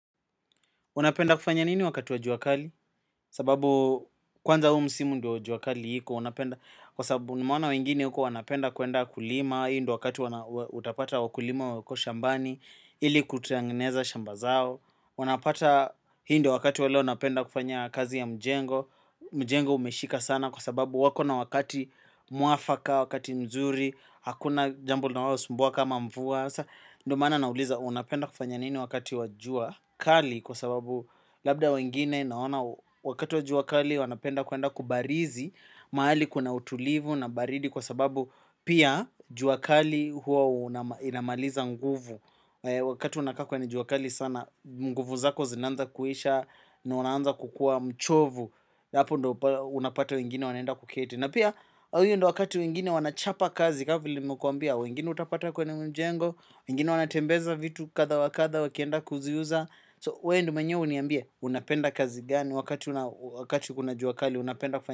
Unapenda kufanya nini wakati wa jua kali? Sababu kwanza huu msimu ndio jua kali iko unapenda kwa sababu nimeona wengine huko wanapenda kuenda kulima. Hii ndio wakati utapata wakulima wako shambani. Ili kutengeneza shamba zao. Unapata hii ndo wakati wa leo napenda kufanya kazi ya mjengo. Mjengo umeshika sana kwa sababu wako na wakati mwafaka, wakati mzuri. Hakuna jambo linalosumbua kama mvua. Ndo maana nauliza unapenda kufanya nini wakati wa jua kali kwa sababu labda wengine naona wakati wa jua kali wanapenda kuenda kubarizi mahali kuna utulivu na baridi kwa sababu pia jua kali hua inamaliza nguvu wakati unakaa kwenye jua kali sana nguvu zako zinaanza kuisha na unaanza kukua mchovu hapo unapata wengine wanaenda kuketi na pia hii ndo wakati wengine wanachapa kazi kaa vile nimekuambia wengine utapata kwenye mjengo wengine wanatembeza vitu kadha wa kadha wakienda kuziuza So wewe ndo mwenyewe uniambie unapenda kazi gani wakati kuna jua kali unapenda kufanya.